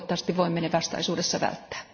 Toivottavasti voimme ne vastaisuudessa välttää.